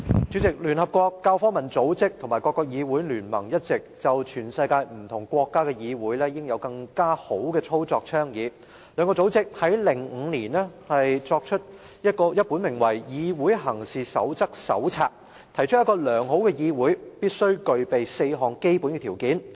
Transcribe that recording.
主席，聯合國教育、科學及文化組織及各國議會聯盟一直倡議全世界不同國家議會應有更佳的操作，兩個組織在2005年出版了一本名為《議會行事守則手冊》，提出一個良好議會必須具備的4項基本條件。